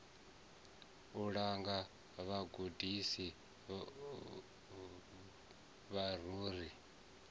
u langa vhagudisi vhavho ri